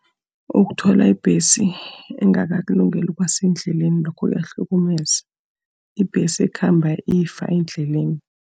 Ukuthola ibhesi engakakulungeli ukuba sendleleni, lokho kuyahlukumeza. Ibhesi ekhamba ifa endleleni.